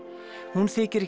hún þykir